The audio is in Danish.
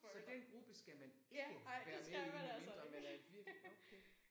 Så den gruppe skal man ikke være med i medmindre man er virkelig okay